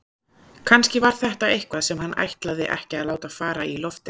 Kannski var þetta eitthvað sem hann ætlaði ekki að láta fara í loftið.